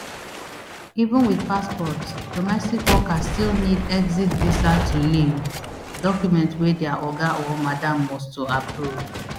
even wit passport domestic workers still need exit visa to leave document wey dia oga or madam must to approve